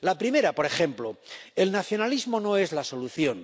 La primera, por ejemplo el nacionalismo no es la solución.